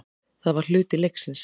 Það var hluti leiksins.